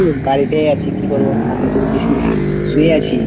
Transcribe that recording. এই তোর বাড়িতেই আছি কি করবো? ঠান্ডাতে বলিস না, শুয়ে আছি।